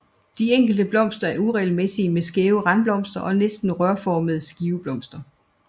De enkelte blomster er uregelmæssige med skæve randblomster og næsten rørformede skiveblomster